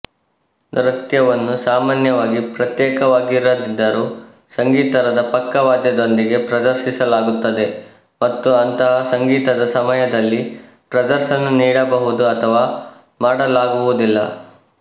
ನೃತ್ಯವನ್ನು ಸಾಮಾನ್ಯವಾಗಿ ಪ್ರತ್ಯೇಕವಾಗಿರದಿದ್ದರೂ ಸಂಗೀತದ ಪಕ್ಕವಾದ್ಯದೊಂದಿಗೆ ಪ್ರದರ್ಶಿಸಲಾಗುತ್ತದೆ ಮತ್ತು ಅಂತಹ ಸಂಗೀತದ ಸಮಯದಲ್ಲಿ ಪ್ರದರ್ಶನ ನೀಡಬಹುದು ಅಥವಾ ಮಾಡಲಾಗುವುದಿಲ್ಲ